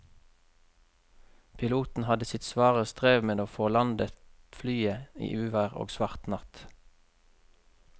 Piloten hadde sitt svare strev med å få landet flyet i uvær og svart natt.